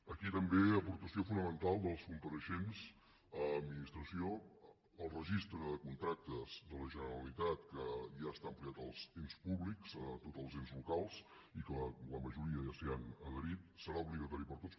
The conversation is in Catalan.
aquí també aportació fonamental dels compareixents a l’administració el registre de contractes de la generalitat que ja està ampliat als ens públics a tots els ens locals i que la majoria ja s’hi han adherit serà obligatori per a tots